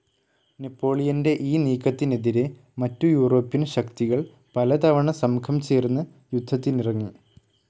നെപ്പോളിയൻ്റെ ഈ നീക്കത്തിനെതിരെ മറ്റു യൂറോപ്യൻ ശക്തികൾ പലതവണ സംഘം ചേർന്ന് യുദ്ധത്തിനിറങ്ങി.